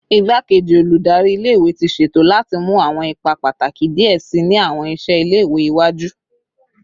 Igbakeji Oludari ile iwe ti ṣeto lati mu awọn ipa pataki diẹ sii ni awọn iṣẹ ile-iwe iwaju